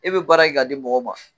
E bɛ baara kɛ k'a di mɔgɔ ma.